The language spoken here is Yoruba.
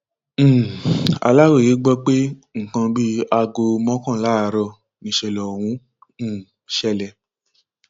um aláròye gbọ pé nǹkan bíi aago mọkànlá àárọ nìṣẹlẹ ọhún um ṣẹlẹ